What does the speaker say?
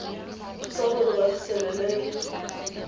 thusa gore ba fitlhelele le